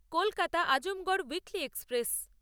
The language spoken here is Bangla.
Kolkata Azamgarh weekly express